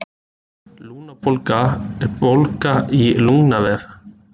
Lungnabólga er bólga í lungnavef.